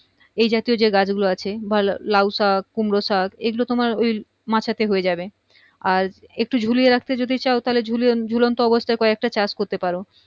এই জাতীয় যেই গাছ গুলো আছে লাউ শাক কুমড়ো শাক এই গুলোই তোমার মাচা তেই হয়ে যাবে আর একটু ঝুলিয়ে রাখতে যদি চাও তো ঝুলিয়ে ঝুলনতঃ অবস্থায় ক একটা চাষ করতে পারো